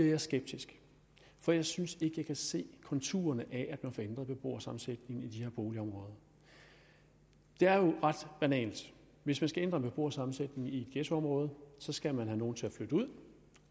jeg skeptisk for jeg synes ikke at jeg kan se konturerne af at man får ændret beboersammensætningen i de her boligområder det er jo ret banalt hvis man skal ændre en beboersammensætning i et ghettoområde skal man have nogle til at flytte ud